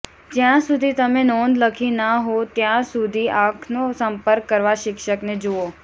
જ્યાં સુધી તમે નોંધ લખી ના હો ત્યાં સુધી આંખનો સંપર્ક કરવા શિક્ષકને જુઓ